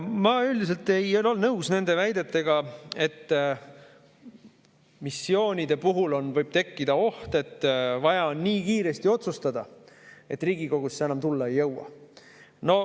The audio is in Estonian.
Ma üldiselt ei ole nõus nende väidetega, nagu missioonide puhul võiks tekkida oht, et vaja on nii kiiresti otsustada, et Riigikogusse enam tulla ei jõua.